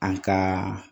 An ka